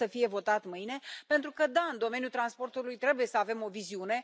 Sper să fie votat mâine, pentru că, da, în domeniul transportului trebuie să avem o viziune.